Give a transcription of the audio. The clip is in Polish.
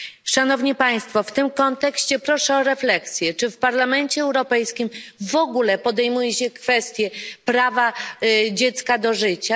Szanowni Państwo, w tym kontekście proszę o refleksję czy w Parlamencie Europejskim w ogóle podejmuje się kwestię prawa dziecka do życia?